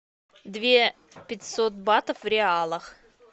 две пятьсот батов в реалах